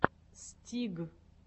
стиг